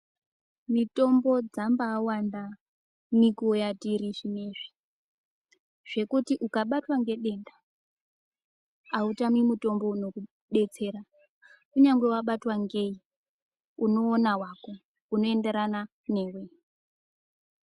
Mitombo dzambaawanda nenguwa yatiri zvinoizvi zvekuti ukabatwa ngedenda autami mutombo unokudetsera kunyangwe wabatwa ngei unoona wako.